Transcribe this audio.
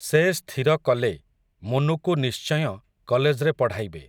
ସେ ସ୍ଥିର କଲେ, ମୁନୁକୁ ନିଶ୍ଚୟଁ, କଲେଜ୍‌ରେ ପଢ଼ାଇବେ ।